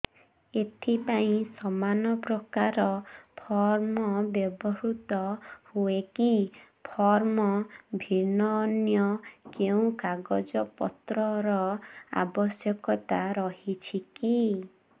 ଏଥିପାଇଁ ସମାନପ୍ରକାର ଫର୍ମ ବ୍ୟବହୃତ ହୂଏକି ଫର୍ମ ଭିନ୍ନ ଅନ୍ୟ କେଉଁ କାଗଜପତ୍ରର ଆବଶ୍ୟକତା ରହିଛିକି